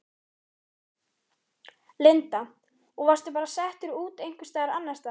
Linda: Og varstu bara settur út einhvers staðar annars staðar?